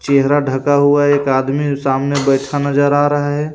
चेहरा ढका हुआ एक आदमी सामने बैठा नजर आ रहा है.